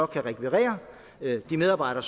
kan rekvirere de medarbejdere